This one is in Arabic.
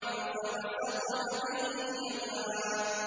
فَوَسَطْنَ بِهِ جَمْعًا